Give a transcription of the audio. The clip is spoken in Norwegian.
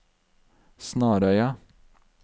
Snarøya